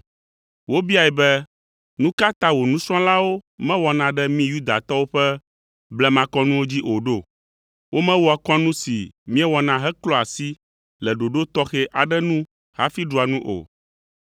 Wobiae be, “Nu ka ta wò nusrɔ̃lawo mewɔna ɖe mí Yudatɔwo ƒe blemakɔnuwo dzi o ɖo? Womewɔa kɔnu si míewɔna heklɔa asi le ɖoɖo tɔxɛ aɖe nu hafi ɖua nu o.”